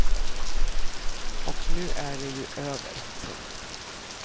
Och nu är det ju över. punkt